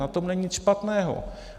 Na tom není nic špatného.